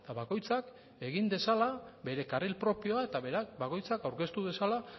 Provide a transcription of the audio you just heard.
bakoitzak egin dezala bere karril propioa eta bakoitzak aurkeztu dezala